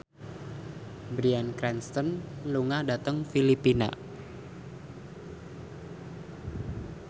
Bryan Cranston lunga dhateng Filipina